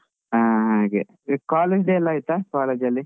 ಹಾ ಹಾಗೆ, college day ಎಲ್ಲ ಆಯ್ತಾ? college ಅಲ್ಲಿ.